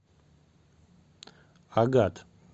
агат